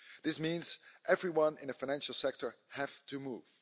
This means everyone in the financial sector has to move.